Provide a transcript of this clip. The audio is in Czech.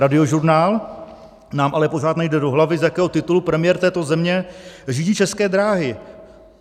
Radiožurnál: Nám ale pořád nejde do hlavy, z jakého titulu premiér této země řídí České dráhy.